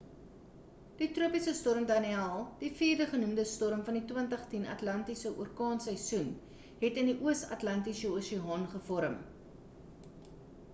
die tropiese storm danielle die vierde genoemde storm van die 2010 atlantiese orkaanseisoen het in die oos atlantiese oseaan gevorm